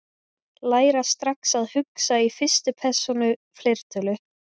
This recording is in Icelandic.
Læra strax að hugsa í fyrstu persónu fleirtölu